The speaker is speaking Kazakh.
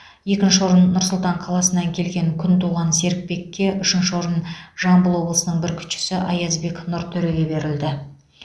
екінші орын нұр сұлтан қаласынан келген күнтуған серікбекке үшінші орын жамбыл облысының бүркітшісі аязбек нұртөреге берілді